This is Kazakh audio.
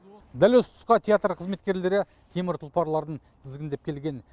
дәл осы тұсқа театр қызметкерлері темір тұлпарларын тізгіндеп келген